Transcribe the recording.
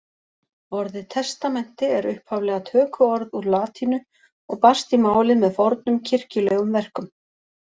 Orðið testamenti er upphaflega tökuorð úr latínu og barst í málið með fornum kirkjulegum verkum.